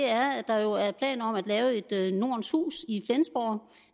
er at der jo er planer om at lave et nordens hus i flensborg